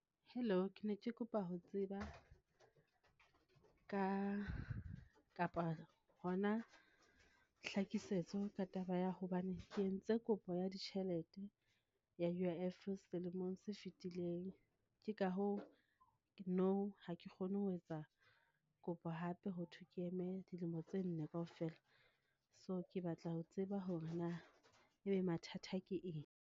Hello, ke ne ke kopa ho tseba ka, kapa hona hlakisetso ka taba ya hobane ke entse kopo ya ditjhelete ya U_I_F selemong se fitileng, ke ka hoo nou ha ke kgone ho etsa kopo hape, ho thwe ke eme dilemo tse nne kaofela. So ke batla ho tseba hore na ebe mathata ke eng?